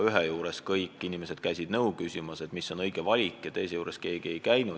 Ühe juures käisid kõik inimesed nõu küsimas, mis on õige valik, aga teise juures keegi ei käinud.